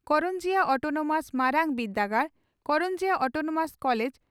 Karanjia Autonomous ᱢᱟᱨᱟᱝ ᱵᱤᱨᱫᱟᱹᱜᱟᱲ (Karanjia Autonomous College